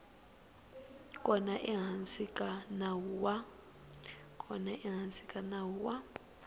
kona ehansi ka nawu wa